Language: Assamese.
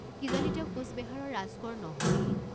কি জানি তেওঁ কোচবেহাৰৰ ৰাজকোঁৱৰ নহয়েই?